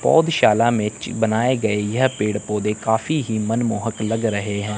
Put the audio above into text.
पौधशाला में बनाए गए यह पेड़ पौधे काफी ही मनमोहक लग रहे हैं।